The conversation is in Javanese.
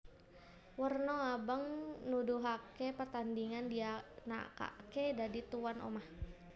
Werna abang nuduhaké pertandhingan dianakaké dadi tuwan omah